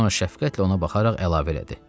Sonra şəfqətlə ona baxaraq əlavə elədi: